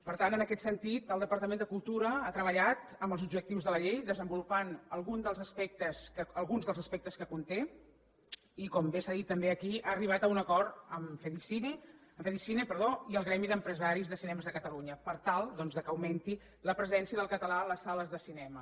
per tant en aquest sentit el departament de cultura ha treballat en els objectius de la llei desenvolupant alguns dels aspectes que conté i com bé s’ha dit també aquí ha arribat a un acord amb fedicine i el gremi d’empresaris de cinemes de catalunya per tal doncs que augmenti la presència del català a les sales de cinema